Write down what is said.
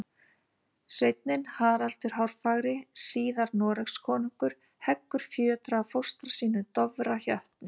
Sveinninn Haraldur hárfagri, síðar Noregskonungur, heggur fjötra af fóstra sínum, Dofra jötni.